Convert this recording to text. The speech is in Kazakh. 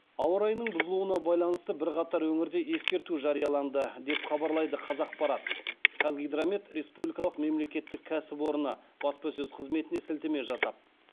ауа райының бұзылуына байланысты бірқатар өңірде ескерту жарияланды деп хабарлайды қазақпарат қазгидромет республикалық мемлекеттік кәсіпорыны баспасөз қызметіне сілтеме жасап